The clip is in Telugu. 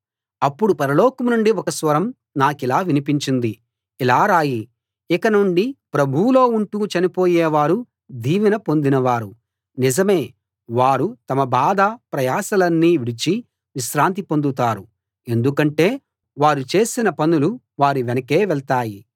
అప్పుడు పరలోకం నుండి ఒక స్వరం నాకిలా వినిపించింది ఇలా రాయి ఇక నుండి ప్రభువులో ఉంటూ చనిపోయే వారు దీవెన పొందినవారు నిజమే వారు తమ బాధ ప్రయాసలన్నీ విడిచి విశ్రాంతి పొందుతారు ఎందుకంటే వారు చేసిన పనులు వారి వెనకే వెళ్తాయి